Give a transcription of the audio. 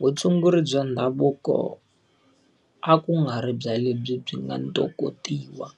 Vutshunguri bya ndhavuko a ku nga ri bya lebyi byi nga ntokotiwa.